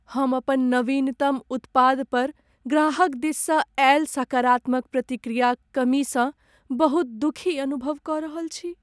हम अपन नवीनतम उत्पाद पर ग्राहक दिससँ आयल सकारात्मक प्रतिक्रियाक कमीसँ बहुत दुखी अनुभव कऽ रहल छी।